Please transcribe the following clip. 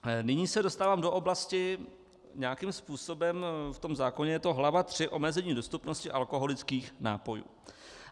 Nyní se dostávám do oblasti... nějakým způsobem v tom zákoně je to hlava III Omezení dostupnosti alkoholických nápojů.